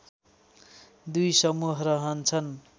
दुई समूह रहन्छन्